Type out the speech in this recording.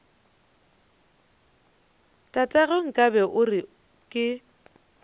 tatagwe nkabe o re ke